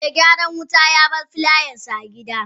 Me gyaran wuta yabar filayansa a gidna.